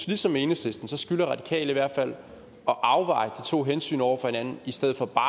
ligesom enhedslisten skylder radikale i hvert fald at afveje de to hensyn over for hinanden i stedet for bare